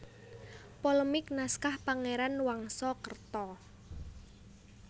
Polemik Naskah Pangeran Wangsakerta